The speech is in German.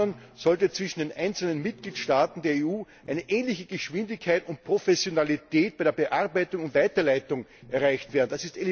Zum anderen sollte zwischen den einzelnen Mitgliedstaaten der EU eine ähnliche Geschwindigkeit und Professionalität bei der Bearbeitung und Weiterleitung erreicht werden.